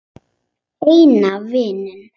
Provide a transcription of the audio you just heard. Eina vininn.